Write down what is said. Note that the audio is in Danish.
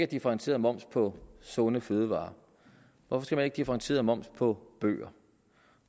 differentieret moms på sunde fødevarer hvorfor skal man ikke have differentieret moms på bøger